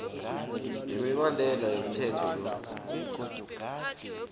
nemibandela yomthetho lo